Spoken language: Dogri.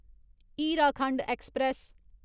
हीराखंड ऐक्सप्रैस